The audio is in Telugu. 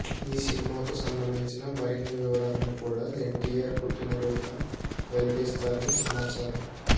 ఈ సినిమాకు సంబంధించిన మరిన్ని వివరాలను కూడా ఎన్టీఆర్ పుట్టినరోజున వెల్లడిస్తారని సమాచారం